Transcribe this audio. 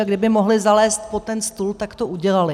A kdyby mohli zalézt pod ten stůl, tak to udělali.